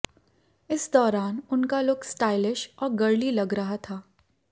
इस दौरान उनका लुक स्टाइलिश और गर्ली लग रहा था